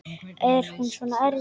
Er hún svona erfið?